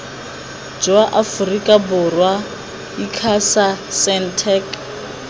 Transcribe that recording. jwa aforika borwa icasa sentech